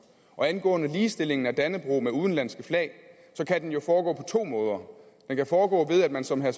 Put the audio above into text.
og angående ligestillingen af dannebrog med udenlandske flag så kan den jo foregå på to måder den kan foregå ved at man som herre